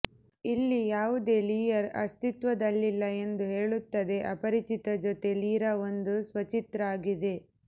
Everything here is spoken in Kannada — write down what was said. ಇಲ್ಲಿ ಯಾವುದೇ ಲಿಯರ್ ಅಸ್ತಿತ್ವದಲ್ಲಿಲ್ಲ ಎಂದು ಹೇಳುತ್ತದೆ ಅಪರಿಚಿತ ಜೊತೆ ಲಿರಾ ಒಂದು ಸ್ವಚಿತ್ರ ಆಗಿದೆ